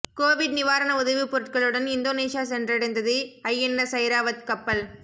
Covid நிவாரண உதவிப் பொருட்களுடன் இந்தோனேசியா சென்றடைந்தது ஐஎன்எஸ் ஐராவத் கப்பல்